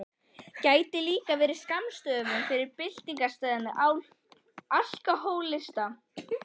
Gæti líka verið skammstöfun fyrir Byltingarsinnaða alkóhólista.